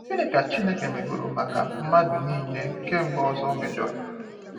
Gịnị ka Chineke megoro maka mmadụ nile kemgbe Ozor mejọrọ